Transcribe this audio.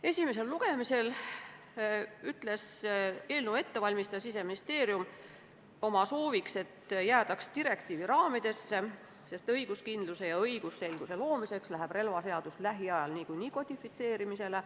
Esimesel lugemisel ütles eelnõu ettevalmistaja Siseministeerium, et tema soovib, et jäädaks direktiivi raamidesse, sest õiguskindluse ja õigusselguse loomiseks läheb relvaseadus lähiajal niikuinii kodifitseerimisele.